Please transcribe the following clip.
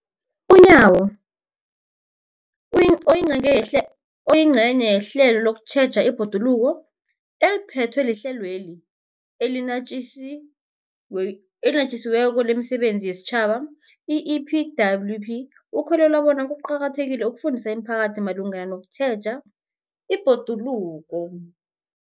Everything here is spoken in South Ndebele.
UNyawo, oyingcenye yehlelo lokutjheja ibhoduluko eliphethwe liHlelo eliNatjisi weko lemiSebenzi yesiTjhaba, i-EPWP, ukholelwa bona kuqakathekile ukufundisa imiphakathi malungana nokutjheja ibhoduluko.